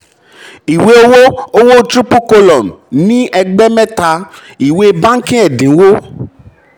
ìwé owó owó triple column ní ẹgbẹ́ mẹ́ta: ìwé bánkì ẹ̀dínwó.